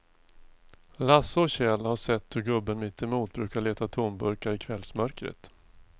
Lasse och Kjell har sett hur gubben mittemot brukar leta tomburkar i kvällsmörkret.